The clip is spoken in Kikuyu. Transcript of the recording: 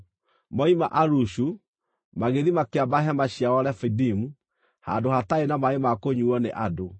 Moima Alushu, magĩthiĩ makĩamba hema ciao Refidimu, handũ hataarĩ na maaĩ ma kũnyuuo nĩ andũ.